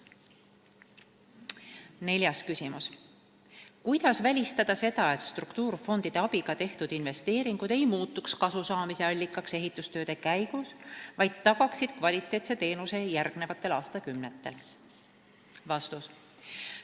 Neljas küsimus: "Kuidas välistada seda, et struktuurifondide abiga tehtud investeeringud ei muutuks kasusaamise allikaks ehitustööde käigus, vaid tagaksid kvaliteetse teenuse järgnevatel aastakümnetel?